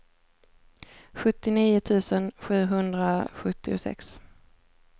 sjuttionio tusen sjuhundrasjuttiosex